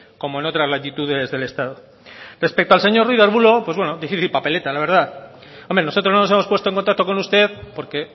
como en otras latitudes del estado respecto al señor ruiz de arbulo pues bueno difícil papeleta la verdad hombre nosotros no nos hemos puesto en contacto con usted porque